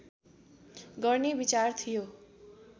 गर्ने विचार थियो